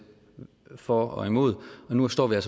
for og imod og nu tror jeg